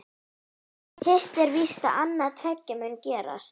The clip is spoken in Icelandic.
Hitt er víst að annað tveggja mun gerast.